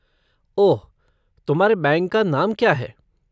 ओह, तुम्हारे बैंक का नाम क्या है?